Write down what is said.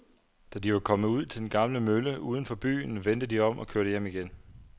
Da de var kommet ud til den gamle mølle uden for byen, vendte de om og kørte hjem igen.